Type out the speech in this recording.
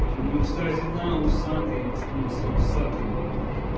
ну кстати да усатый в основном все усатые были